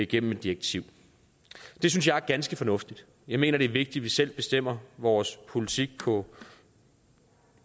gennem et direktiv og det synes jeg er ganske fornuftigt jeg mener det er vigtigt at vi selv bestemmer vores politik på